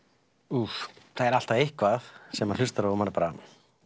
úff það er alltaf eitthvað sem maður hlustar á og bara